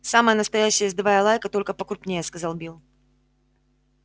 самая настоящая ездовая лайка только покрупнее сказал билл